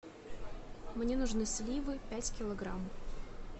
мне нужны сливы пять килограмм